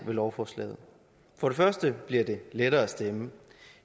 ved lovforslaget for det første bliver det lettere at stemme